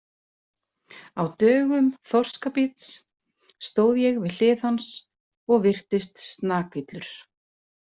Á dögum Þorskabíts stóð ég við hlið hans og virtist snakillur.